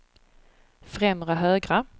främre högra